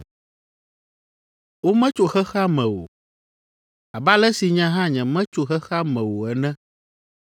Wometso xexea me o, abe ale si nye hã nyemetso xexea me o ene.